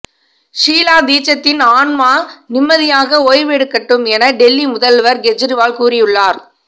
ஷீலா தீட்சித்தின் ஆன்மா நிம்மதியாக ஓய்வெடுக்கட்டும் என டெல்லி முதல்வர் கெஜ்ரிவால் கூறியுள்ளார்